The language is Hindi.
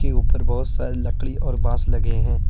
ऊपर बहुत सारी लकड़ी और बास लगे हैं।